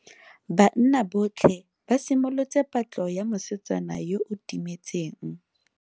Banna botlhe ba simolotse patlo ya mosetsana yo o timetseng.